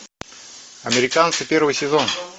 американцы первый сезон